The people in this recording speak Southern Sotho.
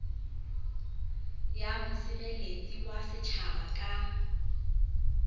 ya mosireletsi wa setjhaba ka